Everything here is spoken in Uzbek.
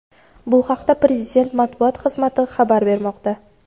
Bu haqda prezident Matbuot xizmati xabar bermoqda.